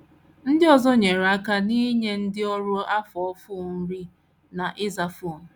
Ndị ọzọ nyere aka n’inye ndị ọrụ afọ ofufo nri na ịza fon.